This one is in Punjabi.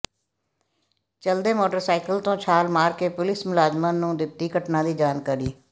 ਚਲਦੇ ਮੋਟਰਸਾਈਕਲ ਤੋਂ ਛਾਲ ਮਾਰ ਕੇ ਪੁਲਿਸ ਮੁਲਾਜ਼ਮਾਂ ਨੂੰ ਦਿੱਤੀ ਘਟਨਾ ਦੀ ਜਾਣਕਾਰੀ